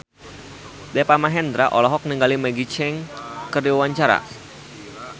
Deva Mahendra olohok ningali Maggie Cheung keur diwawancara